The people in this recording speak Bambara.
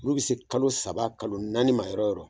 Olu bɛ se kalo saba kalo naani ma yɔrɔ yɔrɔ